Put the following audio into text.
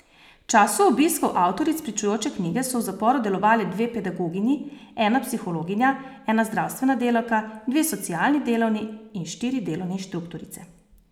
V času obiskov avtoric pričujoče knjige so v zaporu delovale dve pedagoginji, ena psihologinja, ena zdravstvena delavka, dve socialni delavni in štiri delovne inštruktorice.